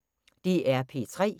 DR P3